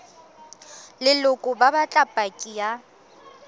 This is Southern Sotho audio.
leloko ba batla paki ya